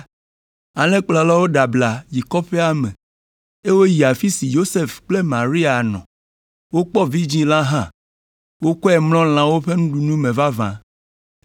Alẽkplɔlawo ɖe abla yi kɔƒea me eye woyi afi si Yosef kple Maria nɔ. Wokpɔ vidzĩ la hã, wokɔe mlɔ lãwo ƒe nuɖunu me vavã.